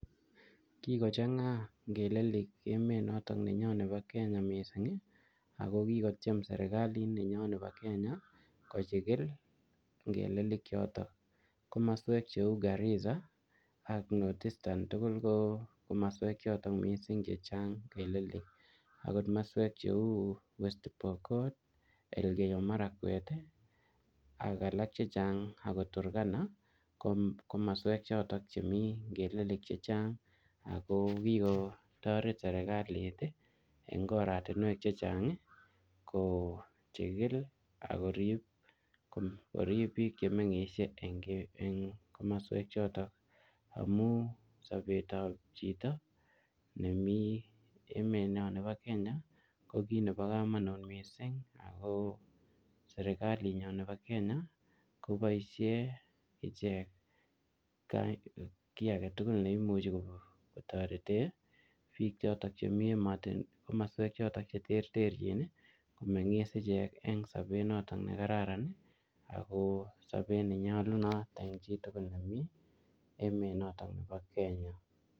Kikocheng'a ngelelik emet notok nenyo nebo Kenya missing, ako kikotiem serikalit nenyo nebo Kenya kochikil ngelelik chotok. Komaswek cheu Garissa ak North eastern tugul ko komaswek chotok missing chechang ngelelik. Angot maswek cheu West Pokot, Elgeyo Marakwet, ak alak chechang akot Turkana, kom-komaswek chotok chemii ngelelik chechang, ako kikotoret serikalit eng oratunwek chechang kochikil akorip korip chemengishie eng-eng komaswek chotok. Amuu sobet ap chito nemii emet nyo nebo Kenya, ko kiy nebo kamanut missing. Ako serikalit nyo nebo Kenya, koboisie ichek kiy age tugul ne imuchi kotorete biik chotok chemii komaswek chotok che terterchin, komengis ichek eng sobet notok ne kararan, ako sobet nenyolunot eng chii tugul nemii emet notok nebo Kenya.